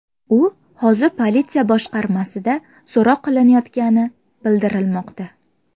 U hozir politsiya boshqarmasida so‘roq qilinayotgani bildirilmoqda.